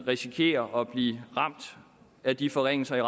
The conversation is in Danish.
risikere at blive ramt af de forringelser af